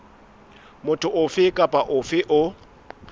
motho ofe kapa ofe o